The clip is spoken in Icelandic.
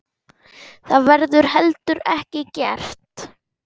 Það verður heldur ekki gert.